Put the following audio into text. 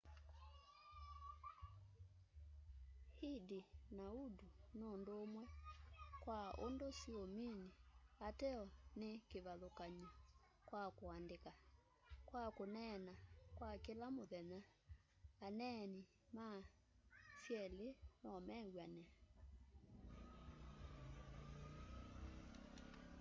hindi na urdu nundumwe kwa undu siumini ateo ni kivathukany'o kwa kuandika kwa kuneena kwa kila muthenya aneeni ma syeli nomew'ane